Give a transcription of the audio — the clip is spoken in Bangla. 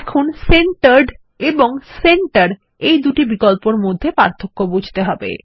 এখন সেন্টার্ড এবং সেন্টার এই দুটি বিকল্পের মধ্যে পার্থক্য বুঝতে হবে